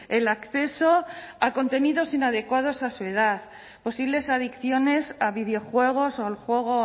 el acceso a contenidos inadecuados a su edad posibles adicciones a videojuegos o al juego